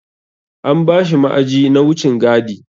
An bashi ma'aji na wucin gadi.